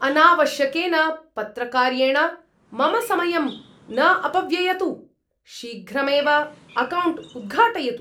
अनावश्यकेन पत्रकार्येण मम समयं न अपव्ययतु। शीघ्रमेव अकौण्ट् उद्घाटयतु!